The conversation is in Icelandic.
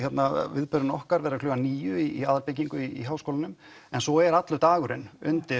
viðburðurinn okkar verður klukkan níu í aðalbyggingu í Háskólanum en svo er allur dagurinn